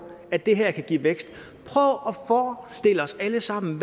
at det her kan give vækst lad os alle sammen